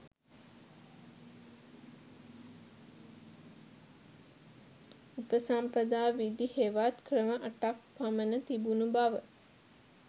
උපසම්පදා විධි හෙවත් ක්‍රම අටක් පමණ තිබුණු බව